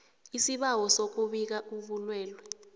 isibawo sokubika ubulwelwe